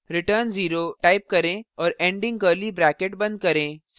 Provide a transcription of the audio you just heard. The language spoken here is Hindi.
save पर click करें file को c extension के साथ सेव करें